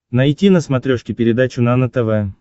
найти на смотрешке передачу нано тв